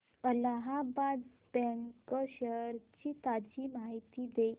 Allahabad bank shares ची ताजी माहिती दे